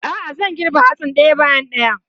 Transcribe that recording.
A'a, zan girbe hatsin ɗaya bayan ɗaya.